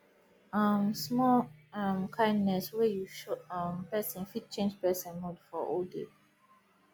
um small um kindness wey you show um person fit change person mood for whole day